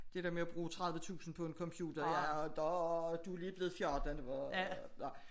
Det dér med at bruge 30 tusind på en computer du er lige blevet 14